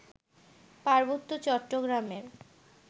পার্বত্য চট্টগ্রামের